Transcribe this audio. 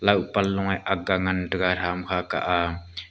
pan lung nge ak ga ngan tega tham kha kah aa.